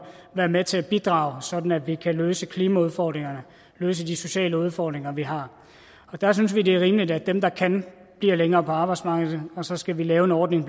være med til at bidrage sådan at vi kan løse klimaudfordringerne og løse de sociale udfordringer vi har der synes vi det er rimeligt at dem der kan bliver længere på arbejdsmarkedet og så skal vi lave en ordning